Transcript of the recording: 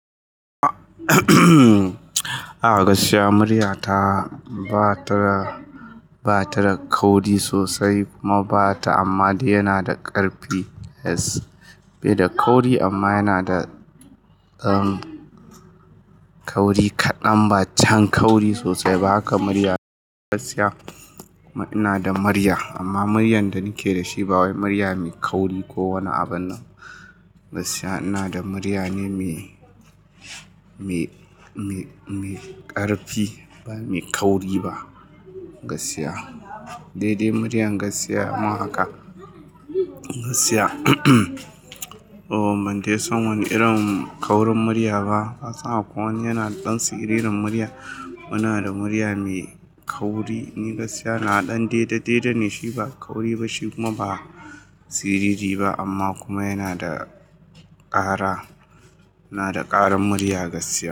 A'a gaskiya murya ta ba ta da, ba ta da kauri sosai kuma ba ta, amma dai yana da ƙarfi, yes. Bai da kauri amma yana da, umm, kauri kaɗan, ba can kauri sosai ba haka murya. Gaskiya ina da murya amma muryan da nake da shi ba wai murya mai kauri ko wani abun nan. Gaskiya ina da murya ne mai, mai, mai, mai ƙarfi ba mai kauri ba. Gaskiya. Dai-dai murya gaskiya amma haka. Gaskiya, o mun dai san wani irin kaurin murya ba. Kasan akwai wani yana ɗan siririn murya. Ina da murya mai kauri ne gaskiya. Na ɗan dai-dai ne shi ba kauri ba shi kuma ba siriri ba amma kuma yana da ƙara. Ina da ƙarin murya gaskiya.